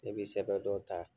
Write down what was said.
Ne bi sɛbɛ dɔ ta